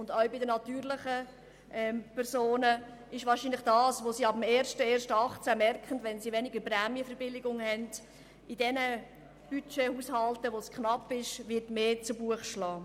Auch bei den natürlichen Personen wird wahrscheinlich die geringere Prämienverbilligung ab 1. Januar 2018 mehr zu Buche schlagen, zumindest in denjenigen Haushalten, wo das Budget knapp ist.